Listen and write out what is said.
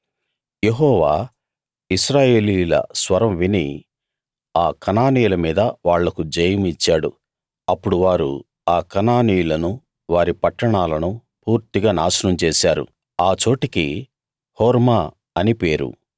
యెహోవా ఇశ్రాయేలీయుల స్వరం విని ఆ కనానీయుల మీద వాళ్లకు జయం ఇచ్చాడు అప్పుడు వారు ఆ కనానీయులను వారి పట్టణాలను పూర్తిగా నాశనం చేశారు ఆ చోటికి హోర్మా అని పేరు